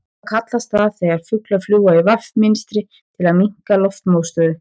Hvað kallast það þegar fuglar fljúga í V mynstri til að minnka loftmótstöðu?